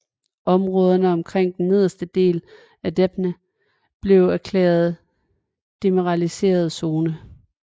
Områderne omkring den nedre del af Dnepr blev erklæret demilitariseret zone